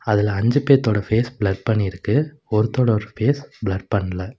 அதுல அஞ்சு பேத்தோட ஃபேஸ் பிளர் பண்ணி இருக்கு ஒருத்தரோட ஃபேஸ் பிளர் பண்ணல.